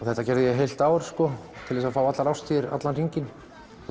þetta gerði ég í heilt ár til að fá allar árstíðir allan hringinn